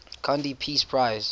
gandhi peace prize